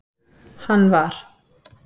hann var.